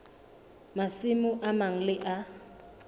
masimo a mang le a